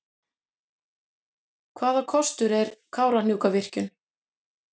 Hvaða kostur er Kárahnjúkavirkjun?